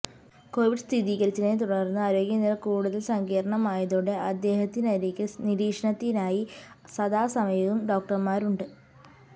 Covid സ്ഥിരീകച്ചതിനെതുടർന്ന് ആരോഗ്യനില കൂടുതൽ സങ്കീർണമായതോടെ അദ്ദേഹത്തിനരികിൽ നിരീക്ഷണത്തിനായി സദാസമയവും ഡോക്ടർമാരുണ്ട്